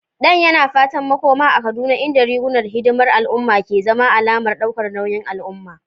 Dan yana fatan makoma a Kaduna inda rigunan hidimar al'umma ke zama alamar daukar nauyin al'umma.